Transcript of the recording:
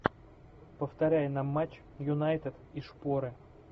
повторяй нам матч юнайтед и шпоры